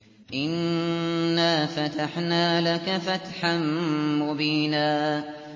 إِنَّا فَتَحْنَا لَكَ فَتْحًا مُّبِينًا